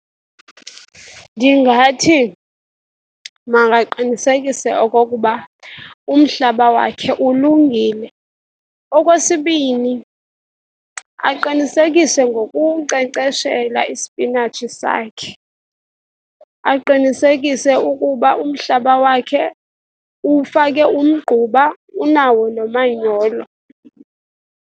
Ndingathi makaqinisekise okokuba umhlaba wakhe ulungile. Okwesibini, aqinisekise ngokunkcenkceshela isipinatshi sakhe. Aqinisekise ukuba umhlaba wakhe uwufake umgquba, unawo nomanyolo.